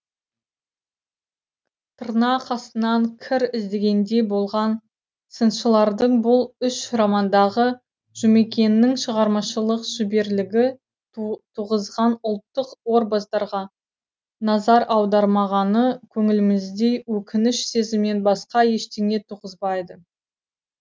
тырнақ астынан кір іздегендей болған сыншылардың бұл үш романдағы жұмекеннің шығармашылық шеберлігі туғызған ұлттық образдарға назар аудармағаны көңілімізде өкініш сезімінен басқа ештеңе туғызбайды